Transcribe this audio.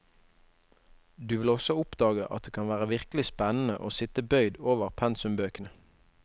Du vil også oppdage at det kan være virkelig spennende å sitte bøyd over pensumbøkene.